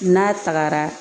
N'a tagara